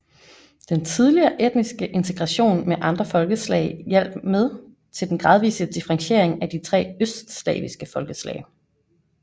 Den tidlige etniske integration med andre folkeslag hjalp med til den gradvise differentiering af de tre østslaviske folkeslag